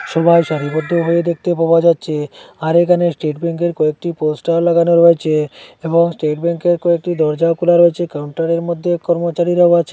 সবাই সারিবদ্ধভাবে দেখতে পাওয়া যাচ্ছে আর এখানে স্টেট ব্যাংকের কয়েকটি পোস্টার লাগানো রয়েছে এবং স্টেট ব্যাংকের কয়েকটি দরজাও খোলা রয়েছে কাউন্টারের মধ্যে কর্মচারীরাও আছে।